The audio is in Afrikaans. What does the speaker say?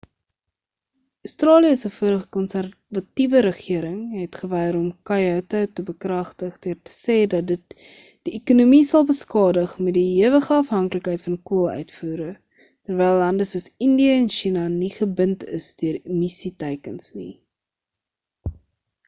australië se vorige konserwatiewe regering het geweier om koyoto te bekragtig deur te sê dat dit die ekonomie sal beskadig met die hewige afhanklikheid van kool uitvoere terwyl lande soos indië en china nie gebind is deur emissie teikens nie